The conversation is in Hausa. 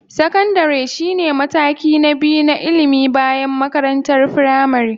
Sakandare shine mataki na biyu na ilimi bayan makarantar firamare.